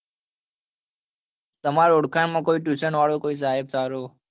તમાર ઓળખાણ માં કોઈ tuition કોઈ સાહેબ સારો